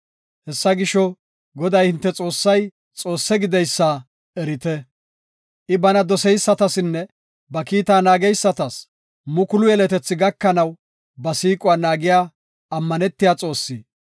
Hessa gisho, Goday, hinte Xoossay Xoosse gideysa erite. I bana doseysatasinne ba kiita naageysatas mukulu yeletethi gakanaw, ba siiquwa naagiya ammanetiya Xoossi.